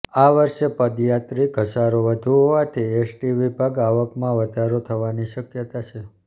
આવર્ષે પદયાત્રી ધસારો વધુ હોવાથી એસટી વિભાગ આવકમાં વધારો થવાની શક્યતા છે